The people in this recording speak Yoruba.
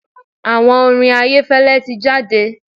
Àwo orin Ayẹ́fẹ́lẹ́ ti jáde.